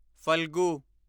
Phalgu